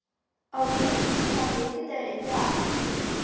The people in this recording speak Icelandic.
Álfrún, hvaða vikudagur er í dag?